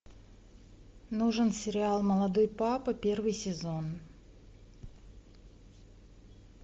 нужен сериал молодой папа первый сезон